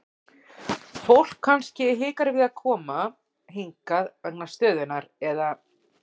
Fólk kannski hikar við koma hingað vegna stöðunnar eða?